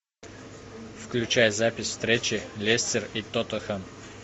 включай запись встречи лестер и тоттенхэм